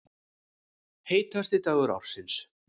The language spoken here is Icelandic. Heitasti dagur ársins